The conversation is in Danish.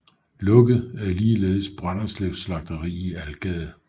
Lukket er ligeledes Brønderslevs slagteri i Algade